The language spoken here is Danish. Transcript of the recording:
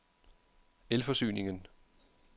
Elforsyningen